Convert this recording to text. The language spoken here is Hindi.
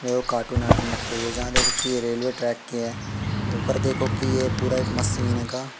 अ कार्टून आर्टून रखे हुए जहाँ देखो की ये रेल्वे ट्रैक की है। ऊपर देखो कि ये पूरा एक मसीन का--